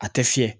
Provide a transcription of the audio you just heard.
A tɛ fiyɛ